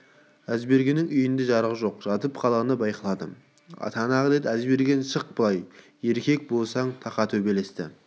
әзбергеннің үйінде жарық жоқ жатып қалғаны байқалады атаңа нәлет әзберген шық былай еркек болсаң тақа төбелесті